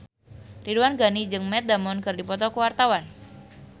Ridwan Ghani jeung Matt Damon keur dipoto ku wartawan